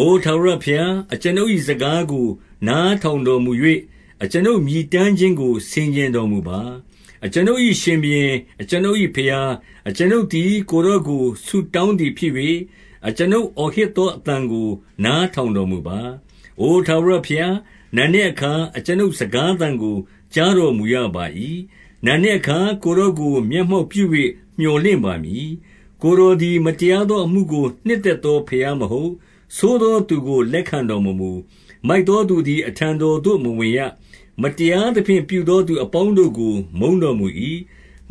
အိုထာဝရဘုရား၊ အကျွန်ုပ်၏စကားကို နား ထောင်တော်မူ၍၊ အကျွန်ုပ်မြည်တမ်းခြင်းကို ဆင်ခြင် တော်မူပါ။ 2 အကျွန်ုပ်၏ရှင်ဘုရင်၊ အကျွန်ုပ်၏ဘုရား၊ အကျွန်ုပ်သည် ကိုယ်တော်ကို ဆုတောင်းသည်ဖြစ်၍၊ အကျွန်ုပ်အော်ဟစ်သောအသံကို နားထောင်တော်မူပါ။ 3 အိုထာဝရဘုရား၊ နံနက်အခါ အကျွန်ုပ် စကားသံကို ကြားတော်မူရပါ၏။ နံနက်အခါကိုယ်တော် ကို မျက်မှောက်ပြု၍ မြော်လင့်ပါမည်။ 4 ကိုယ်တော်သည် မတရားသော အမှုကို နှစ်သက်သော ဘုရားမဟုတ်။ ဆိုးသောသူကို လက်ခံ တော်မမူ။ 5 မိုက်သော သူသည် အထံတော်သို့ မဝင်ရ။မတရားသဖြင့် ပြုသောသူအပေါင်းတို့ကို မုန်းတော်မူ၏။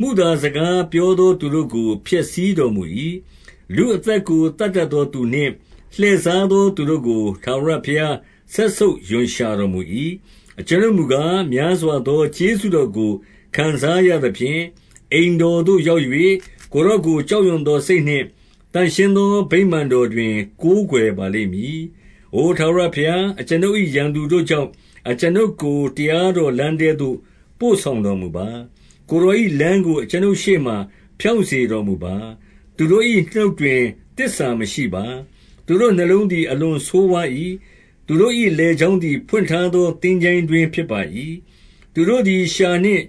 6 မုသာစကားပြောသောသူတို့ကို ဖျက်ဆီးတော် မူ၏။ လူအသက်ကို သတ်တတ်သောသူနှင့် လှည့်စား တတ်သောသူတို့ကို ထာဝရဘုရား စက်ဆုပ်ရွံရှာတော် မူ၏။ 7 အကျွန်ုပ်မူကား၊ များစွာသော ကျေးဇူးတော်ကို ခံစားရသဖြင့်၊ အိမ်တော်သို့ရောက်၍၊ ကိုယ်တော်ကို ကြောက်ရွံ့သော စိတ်နှင့်သန့်ရှင်းသော ဗိမာန်တော်တွင် ကိုးကွယ်ပါလိမ့်မည်။ 8 အိုထာဝရဘုရား၊ အကျွန်ုပ်၏ ရန်သူတို့ကြောင့် အကျွန်ုပ်ကို တရားတော်လမ်းထဲသို့ပို့ဆောင်တော်မူပါ။ ကိုယ်တော်၏လမ်းကို အကျွန်ုပ်ရှေ့မှာ ဖြောင့်စေတော် မူပါ။ 9 သူတို့၏နှုတ်တွင် သစ္စာမရှိပါ။ သူတို့နှလုံးသည် အလွန်ဆိုးဝါး၏။ သူတို့၏လည်ချောင်းသည် ဖွင့်ထား သော သင်္ချိုင်းတွင်းဖြစ်ပါ၏။ သူတို့သည် လျှာနှင့်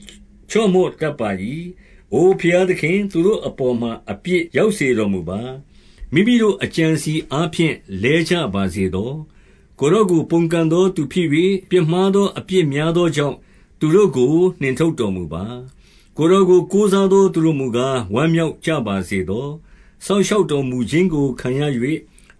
ချော့မော့တတ်ကြ၏။ 10 အိုဘုရားသခင်၊ သူတို့အပေါ်မှာ အပြစ်ရောက် စေတော်မူပါ။ မိမိတို့အကြံအစည်အားဖြင့် လဲကြပါစေ သော။ ကိုယ်တော်ကို ပုန်ကန်သော သူဖြစ်၍၊ ပြစ်မှား သော အပြစ်များသောကြောင့်၊ သူတို့ကို နှင်ထုတ်တော် မူပါ။ 11 ကိုယ်တော်ကို ကိုးစားသော သူတို့မူကား၊ ဝမ်းမြောက်ကြပါစေသော။ စောင့်ရှောက်တော်မူခြင်းကို ခံရ၍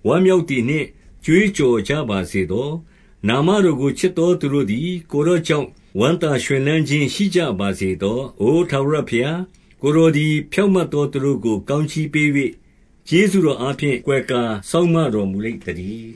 ဝမ်းမြောက်သည်နှင့် ကြွေးကြော်ကြပါစေသော။ နာမတော်ကို ချစ်သောသူတို့သည် ကိုယ်တော်ကြောင့် ဝမ်းသာရွှင်လန်းခြင်း ရှိကြပါစေသော။ 12 အိုထာဝရဘုရား၊ ကိုယ်တော်သည် ဖြောင့်မတ် သော သူကို ကောင်းကြီးပေး၍ ကျေးဇူးတော်အားဖြင့် ကွယ်ကာ စောင့်မတော်မူလိမ့်သတည်း။